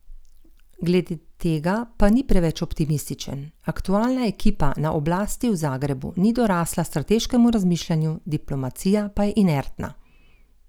Glede tega pa ni preveč optimističen: 'Aktualna ekipa na oblasti v Zagrebu ni dorasla strateškemu razmišljanju, diplomacija pa je inertna.